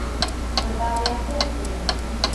наталья хохрина